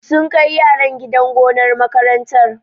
Sun kai yaran gidan gonar makarantar.